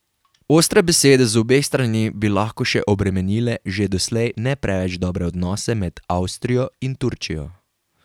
Ostre besede z obeh strani bi lahko še obremenile že doslej ne preveč dobre odnose med Avstrijo in Turčijo.